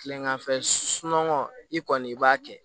Kileganfɛ sunɔgɔ i kɔni i b'a kɛ